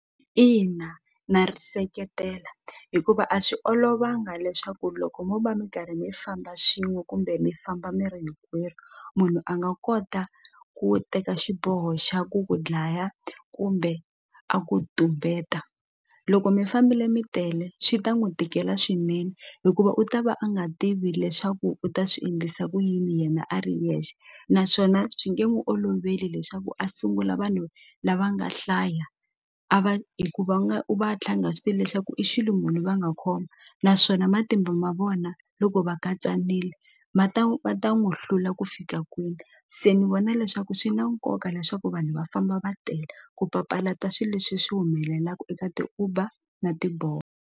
Ina na ri seketela hikuva a swi olovanga leswaku loko mo va mi karhi mi famba swin'we kumbe mi famba mi ri hinkwerhu munhu a nga kota ku teka xiboho xa ku ku dlaya kumbe a ku tumbeta loko mi fambile mi tele swi ta n'wi tikela swinene hikuva u ta va a nga tivi leswaku u ta swi endlisa ku yini yena a ri yexe naswona swi nge n'wu oloveli leswaku a sungula vanhu lava nga hlaya a va hi ku va nga u va a tlha a nga swi tivi leswaku i xilo munhu va nga khoma naswona matimba ma vona loko va katsanile ma ta va ta n'wu hlula ku fika kwini se ni vona leswaku swi na nkoka leswaku vanhu va famba va tele ku papalata swi leswi swi humelelaku eka ti-Uber na .